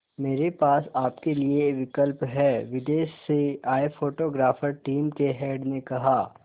मेरे पास आपके लिए विकल्प है विदेश से आए फोटोग्राफर टीम के हेड ने कहा